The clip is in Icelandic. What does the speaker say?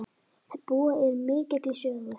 Þær búa yfir mikilli sögu.